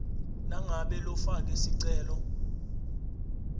nangabe lofake sicelo